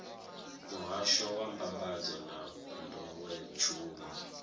muhasho wa mbambadzo na nḓowetshumo